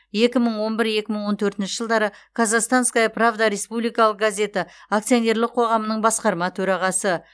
екі мың он бір екі мың он төртінші жылдары казахстанская правда республикалық газеті акционерлік қоғамының басқарма төрағасы